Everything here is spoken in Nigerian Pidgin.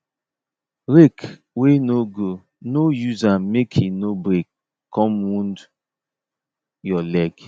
rake wey no go no use am make e no break come wound your leg